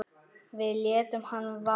Við létum hana vaða.